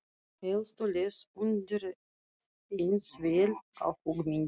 Elsu leist undireins vel á hugmyndina.